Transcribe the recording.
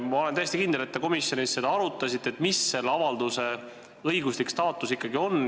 Ma olen täiesti kindel, et te komisjonis arutasite seda, milline ikkagi on selle avalduse õiguslik staatus.